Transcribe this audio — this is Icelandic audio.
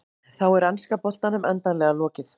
Þá er enska boltanum endanlega lokið.